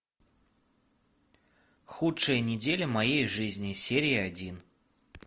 худшая неделя моей жизни серия один